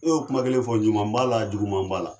E y y'o kuma kelen fɔ juma b'a la juguman b'a la.